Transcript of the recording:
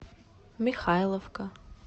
михайловка